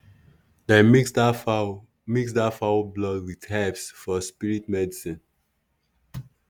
dem mix that fowl mix that fowl blood with herbs for spirit medicine.